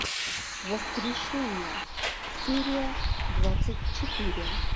воскрешение серия двадцать четыре